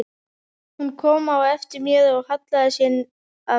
Hún kom á eftir mér og hallaði sér að mér.